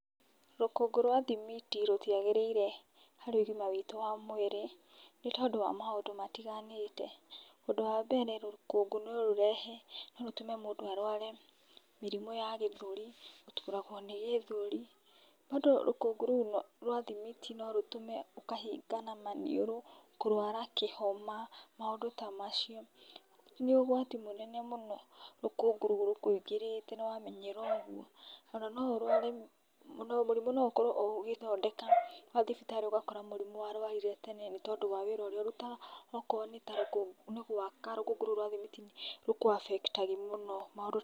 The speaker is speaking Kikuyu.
Rũkũngũ rwa thimiti rũtiagĩrĩire harĩ ũgima witũ wa mwĩrĩ, nĩ tondũ wa maũndũ matiganĩte. Ũndũ wa mbere rũkũngũ no rũrehe, no rũtũme mũndũ arware mĩrimũ ya gĩthũri, gũturagwo nĩ gĩthuri, rũkũngũ rũu rwa thimiti norũtũme ũkahingana maniũrũ, kũrwara kĩhoma, mũndũ ta macio. Nĩ ũgwati mũnene mũno rũkũngũ rũkũingĩrĩte nomenye ona no ũrware mũrimũ no ũkorwo ũgĩthondeka mathibitarĩ ũgakora mũrimũ warwarire tene, nĩtondũ wa wĩra ũrĩa ũrutaga. Okorwo nĩ ta rũkũngũ, nĩ gwaka rũkũngũ rũu rwa thimiti, rũkũa affect agĩ mũno, maũndũ ta macio.